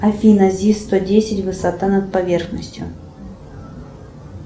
афина зи сто десять высота над поверхностью